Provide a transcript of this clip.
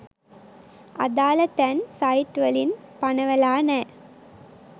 අදාල තැන් සයිට්වලින් පනවලා නෑ.